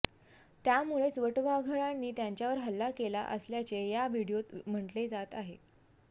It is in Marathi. त्यामुळेच वटववाघळांनी त्यांच्यावर हल्ला केला असल्याचे या व्हिडिओत म्हटले आहे